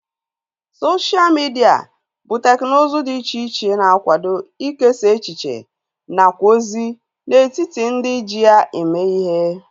Sosha midia bụ teknụzu dị iche iche na-akwado ikesa echiche nakwa ozi n'etiti ndị ji ya eme ihe